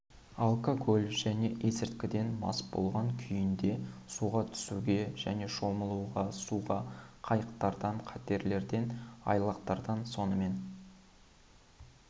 алкоголь және есірткіден мас болған күйінде суға түсуге және шомылуға суға қайықтардан катерлерден айлақтардан сонымен